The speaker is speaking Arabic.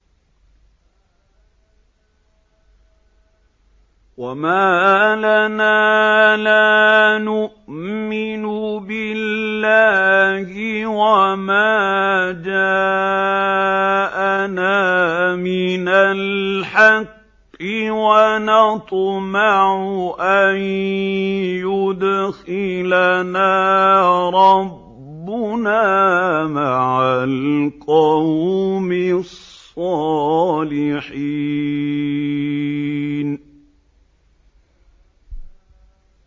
وَمَا لَنَا لَا نُؤْمِنُ بِاللَّهِ وَمَا جَاءَنَا مِنَ الْحَقِّ وَنَطْمَعُ أَن يُدْخِلَنَا رَبُّنَا مَعَ الْقَوْمِ الصَّالِحِينَ